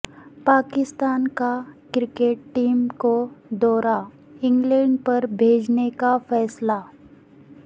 پاکستان کا cricket team کو دورہ انگلینڈ پر بھیجنے کا فیصلہ